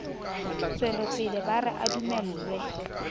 tswelopele ba re a dumellwe